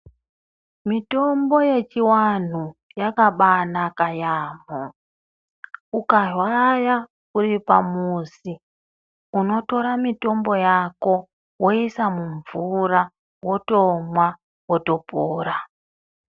Mitombo yechivanhu yakabanaka yaamho. Ukarwara uri pamuzi, unotora mitombo yako woisa mumvura, wotomwa wotopora.